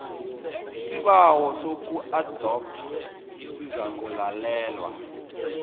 isibawo sokuadoptha sizakulalelwa